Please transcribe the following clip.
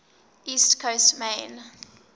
east coast maine